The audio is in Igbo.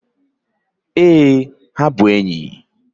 Ee, ha bụ enyi